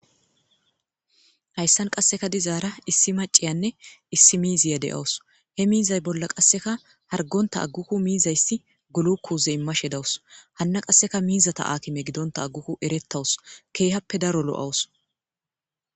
Hayssan qasseka dizaara issi maciyanne issi miiziya de'awus he miizay bolla qasseka hargonta aggukku miizayssi gulu kuuze immashe dawus hanna qasseka miizata akime gidonta agguku erettawus keehappe daro lo'awus.